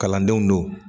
Kalandenw don